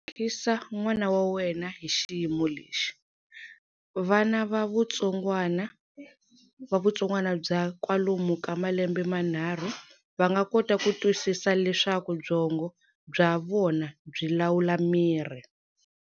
Lemukisa n'wana wa wena hi xiyimo lexi. Vana va vutsongwana bya kwalomu ka malembe manharhu va nga kota ku twisisa leswaku byongo bya vona byi lawula miri.